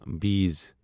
بیٖس